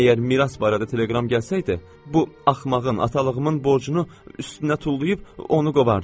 Əgər miras barədə telegram gəlsəydi, bu axmağın, atalığımın borcunu üstünə tullayıb onu qovardım.